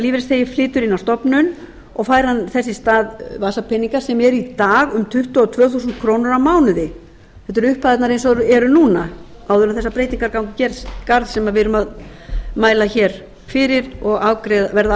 á stofnun og fær hann þess í stað vasapeninga sem eru í dag um tuttugu og tvö þúsund krónur á mánuði þetta eru upphæðirnar eins og þær eru núna áður en þessar breytingar ganga í garð sem við erum að mæla hér fyrir og verða